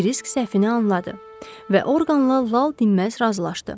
Kirisk səhvini anladı və Orqanla lal-dinməz razılaşdı.